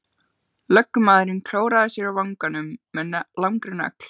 Lögmaðurinn klóraði sér á vanganum með langri nögl.